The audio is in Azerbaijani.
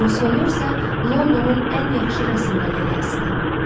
Qrosvenorsa Londonun ən yaxşı rəsm qalereyasıdır.